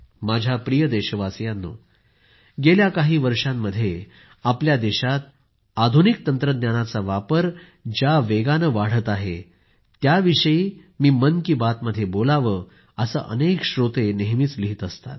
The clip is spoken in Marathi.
माझ्या प्रिय देशवासियांनो गेल्या काही वर्षांमध्ये आपल्या देशामध्ये आधुनिक तंत्रज्ञानाचा वापर ज्या वेगाने वाढत आहे त्याविषयी मी मन की बात मध्ये बोलावं असं अनेक श्रोते नेहमीच लिहीत असतात